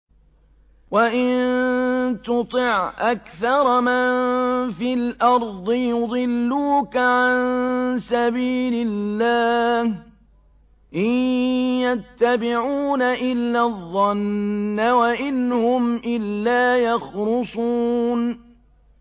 وَإِن تُطِعْ أَكْثَرَ مَن فِي الْأَرْضِ يُضِلُّوكَ عَن سَبِيلِ اللَّهِ ۚ إِن يَتَّبِعُونَ إِلَّا الظَّنَّ وَإِنْ هُمْ إِلَّا يَخْرُصُونَ